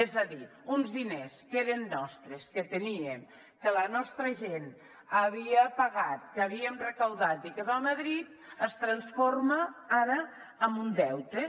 és a dir uns diners que eren nostres que tenien que la nostra gent havia pagat que havíem recaptat i que van a madrid es transforma ara en un deute